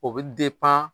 O bɛ